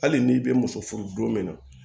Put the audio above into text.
Hali n'i bɛ muso furu don min na